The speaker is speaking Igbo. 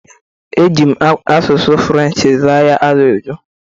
Ejim asụsụ fụlenchi zaa ya ajụjụ.